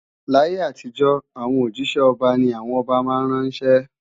Láyé àtijọ́, àwọn òjísẹ́ ọba ni àwọn ọba máa ń ránṣẹ́